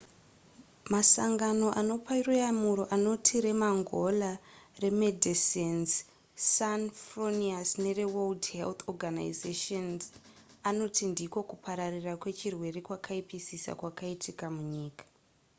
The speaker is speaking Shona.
masangano anopa ruyamura anoti remangola remedecines sans fronieres nereworld health organisation anoti ndiko kupararira kwechirwere kwakaipisisa kwakaitika munyika